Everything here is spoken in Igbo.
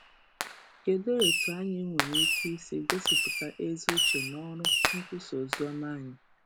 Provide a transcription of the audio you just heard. Kedụ etu anyị nwere ike isi gosipụta ezi uche n’ọrụ nkwusa oziọma anyị?